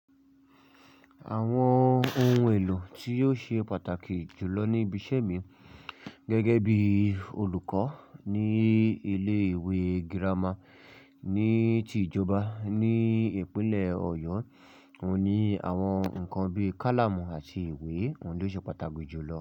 Àwọn ohun èlò tí yóò ṣe pàtàkì jù lọ níbi iṣẹ́ mi gẹ́gẹ́ bí olùkọ́ ní ilé ìwé gírámà ní ti ìjọba ní ìpínlẹ̀ Ọ̀yọ́, òun ni àwọn nǹkan bí i kálámù àti ìwé oun lo ṣe pàtàkì jù lọ.